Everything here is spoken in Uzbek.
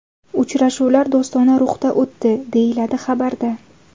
Uchrashuvlar do‘stona ruhda o‘tdi, deyiladi xabarda.